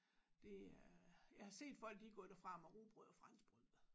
Det er jeg har set folk de er gået derfra med rugbrød og franskbrød